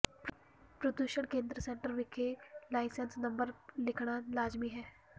ਪ੍ਰਦੂਸ਼ਣ ਕੇਂਦਰ ਸੈਂਟਰ ਵਿਖੇ ਲਾਇਸੈਂਸ ਨੰਬਰ ਲਿਖਣਾ ਲਾਜ਼ਮੀ ਹੈ